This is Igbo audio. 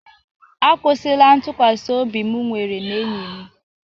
A kwụsịla ntụkwasị obi m nwere na enyi m.